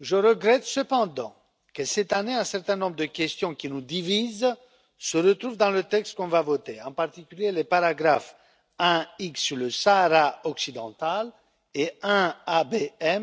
Je regrette cependant que, cette année, un certain nombre de questions qui nous divisent se retrouvent dans le texte que nous allons voter, en particulier les paragraphes 1 sur le Sahara occidental et 1